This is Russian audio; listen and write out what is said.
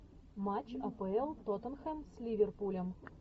матч апл тоттенхэм с ливерпулем